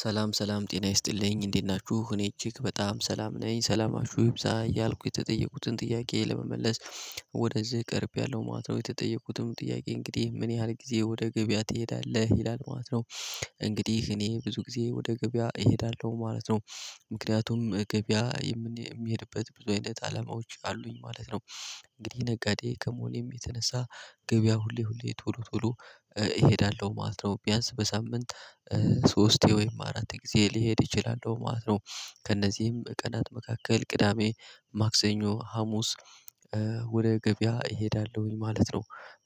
ሰላም ሰላም ጤና ይስጥልኝ እንዴት ናችሁ እኔ እጅግ በጣም ሰላም ነኝ ሰላማችሁ ይብዛ እያልኩ የተጠየቁትን ጥያቄ ለመመለስ። ወደዚህ ቀርቤለው ማለት ነው የተጠየቁትም ጥያቄ እንግዲህ ምን ያህል ጊዜ ወደ ገበያ ትሄዳለህ? ይላል ማለት ነው። እንግዲህ እኔ ብዙ ጊዜ ወደ ገበያ እሄዳለሁ ማለት ነው። ምክንያቱም ገበያ የምንሄድበት ብዙ አይነት አላማዎች አሉኝ ማለት ነው። እንግዲህ ነጋዴ ከመሆኔም የተነሳ ገበያ ሁሌ ሁሌ ቶሎ ቶሎ እሄዳለሁ ማለት ነው። ቢያንስ በሳምንት ሶስቴ ወይም አራት ጊዜ ሊሄድ ይችላል ማለት ነው። ከእነዚህም ቀናት መካከል ቅዳሜ ማክሰኞ ሀሙስ ወደ ገበያ እሄዳለሁኝ ማለት ነው።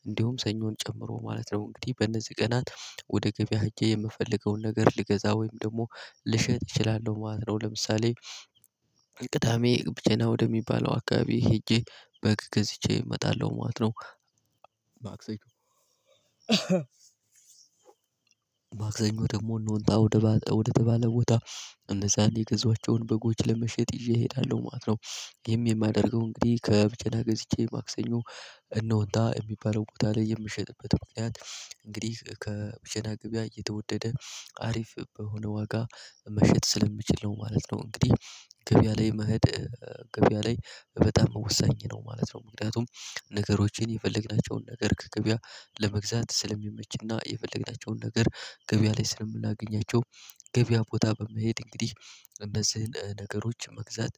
እንዲሁም ሰኞን ጨምሮ ማለት ነው እንግዲህ በእነዚህ ቀናት ወደ ገበያ ሄጄ የምፈልገውን ነገር ልገዛ ወይም ደግሞ ልሸጥ እችላለሁ ማለት ነው። ለምሳሌ ብቸና ወደሚባለው አካባቢ ሄጄ በግ ገዝቼ እመጣለሁ ማለት ነው። ማክሰኞ ደግሞ ኖንታ ወደ ባለ ወደ ተባለ ቦታ እነዛን የገዛዋቸውን በጎች ለመሸጥ ይዤ እሄዳለሁ ማለት ነው። ይሄም የማደርገው እንግዲህ ከብቸና ገዝቼ ማክሰኞ እነሆንታ የሚባለው ቦታ ላይ የምሸጥበት ምክንያት እንግዲህ ከብቸና ገበያ እየተወደደ አሪፍ በሆነ ዋጋ መሸጥ ስለምችል ነው ማለት ነው። እንግዲህ ገበያ ላይ መሄድ ገበያ ላይ በጣም ወሳኝ ነው ማለት ነው። ምክንያቱም ነገሮችን የፈለግናቸውን ነገር ከገበያ ለመግዛት ስለሚመችና የፈለግናቸውን ነገር ገበያ ላይ ስለምናገኛቸው ገበያ ቦታ በመሄድ እንግዲህ እነዚህን ነገሮች መግዛት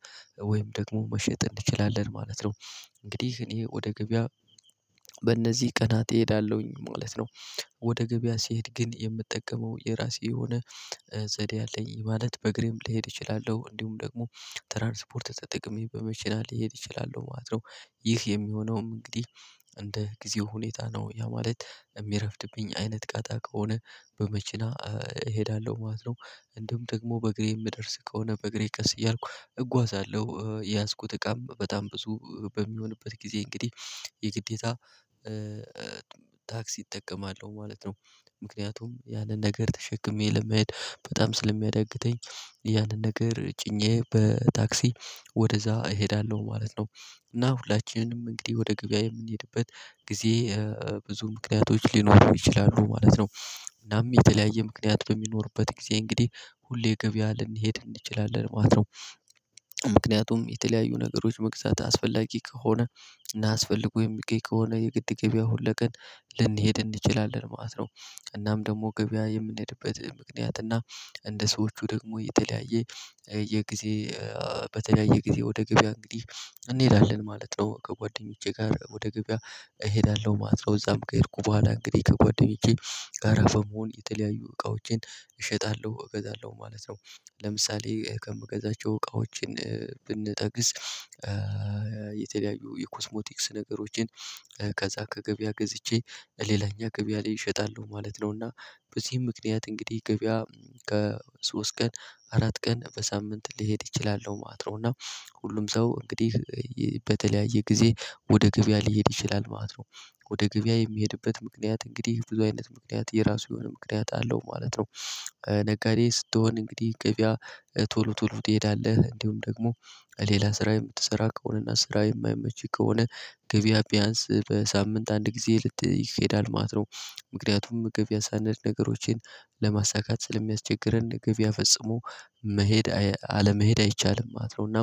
ወይም ደግሞ መሸጥ እንችላለን ማለት ነው። እንግዲህ እኔ ወደ ገበያ በእነዚህ ቀናት እሄዳለሁኝ ማለት ነው። ወደ ገበያ ሲሄድ ግን የምጠቀመው የራሴ የሆነ ዘዴ አለኝ ማለት በእግሬም ልሄድ እችላለሁ እንዲሁም ደግሞ ትራንስፖርት ተጠቅሜ በመኪና ልሄድ እችላለሁ ማለት ነው። ይህ የሚሆነውም እንግዲህ እንደ ጊዜው ሁኔታ ነው ያ ማለት የሚረፍድብኝ አይነት ቀጣቂ ከሆነ በመኪና እሄዳለሁ ማለት ነው። እንዲሁም ደግሞ በእግሬ የምደርስ ከሆነ በእግሬ ቀስ እያልኩ እጓዛለሁ የያዝኩት እቃም በጣም ብዙ በሚሆንበት ጊዜ እንግዲህ የግዴታ ታክሲ እጠቀማለሁ ማለት ነው። ምክንያቱም ያንን ነገር ተሸክሜ ለመሄድ በጣም ስለሚያዳግተኝ ያንን ነገር ጭኜ በታክሲ ወደዛ እሄዳለሁ ማለት ነው። እና ሁላችንም እንግዲህ ወደ ገበያ የምንሄድበት ጊዜ ብዙ ምክንያቶች ሊኖሩ ይችላሉ ማለት ነው። እናም የተለያየ ምክንያት በሚኖርበት ጊዜ እንግዲህ ሁሌ ገበያ ልንሄድ እንችላለን ማለት ነው። ምክንያቱም የተለያዩ ነገሮች መግዛት አስፈላጊ ከሆነ እናስፈልጐ የሚገኝ ከሆነ የግድ ገበያ ሁለቀን ልንሄድ እንችላለን ማለት ነው። እናም ደግሞ ገበያ የምንሄድበት ምክንያት እና እንደ ሰዎቹ ደግሞ የተለያየ የጊዜ በተለያየ ጊዜ ወደ ገበያ እንግዲህ እንሄዳለን ማለት ነው ከጓደኞቼ ጋር ወደ ገበያ እሄዳለሁ ማለት ነው እዛም ከሄድኩ በኋላ እንግዲህ ከጓደኞቼ ጋራ በመሆን የተለያዩ እቃዎቼን እሸጣለሁ እገዛለሁ ማለት ነው። ለምሳሌ ከምገዛቸው እቃዎችን ብንጠቅስ የተለያዩ የኮስሞቲክስ ነገሮችን ከዛ ከገበያ ገዝቼ ሌላኛ ገበያ ላይ እሸጣለሁ ማለት ነው። እና በዚህም ምክንያት እንግዲህ ገቢያ ከሶስት ቀን አራት ቀን በሳምንት ሊሄድ ይችላል ነው ማለት ነው። እና ሁሉም ሰው እንግዲህ በተለያየ ጊዜ ወደ ገብያ ሊሄድ ይችላል ማለት ነው። ወደ ገብያ የሚሄድበት ምክንያት እንግዲህ ብዙ አይነት ምክንያት የራሱ የሆነ ምክንያት አለው ማለት ነው። ነጋዴ ስትሆን እንግዲህ ገቢያ ቶሎ ቶሎ ትሄዳለህ እንዲሁም ደግሞ ሌላ ስራ የምትሰራ ከሆነና ስራ የማይመች ከሆነ ገበያ ቢያንስ በሳምንት አንድ ጊዜ ልት ይኬዳል ማለት ነው። ምክንያቱም ገበያ ሳኔድ ነገሮችን ለማሳካት ስለሚያስቸግረን ገበያ ፍጹም መሄድ አለመሄድ አይቻልም ማለት ነው። እና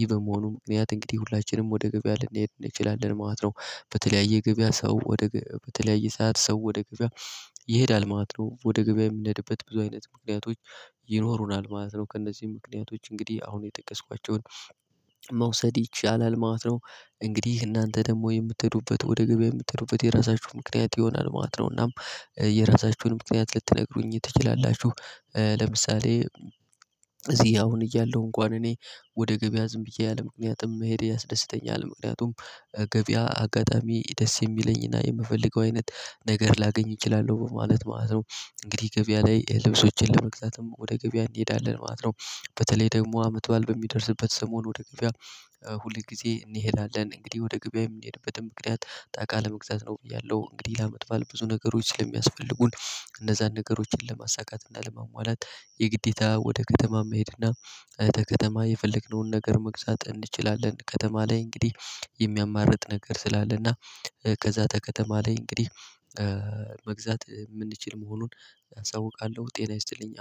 ይህ በመሆኑ ምክንያት እንግዲህ ሁላችንም ወደ ገበያ ልንሄድ እንችላለን ማለት ነው። በተለያየ ገበያ ሰው ወደ በተለያየ ሰዓት ሰው ወደ ገበያ ይሄዳል ማለት ነው ወደ ገበያ የምኔድበት ብዙ አይነት ምክንያቶች ይኖሩናል ማለት ነው። ከእነዚህ ምክንያቶች እንግዲህ አሁን የጠቀስኳቸውን መውሰድ ይቻላል ማለት ነው። እንግዲህ እናንተ ደግሞ የምትሄዱበት ወደ ገበያ የምትሄዱበት የራሳችሁ ምክንያት ይሆናል ማለት ነው እናም የራሳችሁን ምክንያት ልትነግሩኝ ትችላላችሁ? ለምሳሌ እዚህ አሁን እያለሁ እንኳን እኔ ወደ ገበያ ዝም ብዬ አለምክንያትም መሄድ ያስደስተኛል ምክንያቱም ገበያ አጋጣሚ ደስ የሚለኝና የምፈልገው አይነት ነገር ላገኝ እችላለሁ በማለት ማለት ነው። እንግዲህ ገበያ ላይ ልብሶችን ለመግዛትም ወደ ገበያ እንሄዳለን ማለት ነው። በተለይ ደግሞ አመት በል በሚደርስበት ሰሞን ወደ ግቢያ ሁል ጊዜ እንሄዳለን እንግዲህ ወደ ገበያ የምንሄድበትን ምክንያት እቃ ለመግዛት ነው ብያለሁ እንግዲህ ለአመት በዓል ብዙ ነገሮች ስለሚያስፈልጉን እነዛ ነገሮችን ለማሳካት ለሟሟላት የግዴታ ወደ ከተማ መሄድ እና ከከተማ የፈለግነውን ነገር መግዛት እንችላለን። ከተማ ላይ እንግዲህ የሚያማርጥ ነገር ስላለና ከዛ ከከተማ ላይ እንግዲህ መግዛት የምንችል መሆኑን አሳውቃለሁ። ጤና ይስጥልኝ።